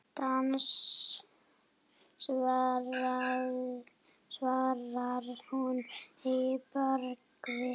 Dans svarar hún að bragði.